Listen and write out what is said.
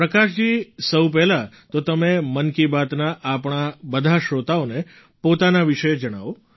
પ્રકાશજી સૌ પહેલાં તો તમે મન કી બાતના આપણા બધા શ્રોતાઓને પોતાના વિશે જણાવો